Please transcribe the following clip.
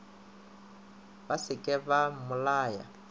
ba se ke ba mmolaya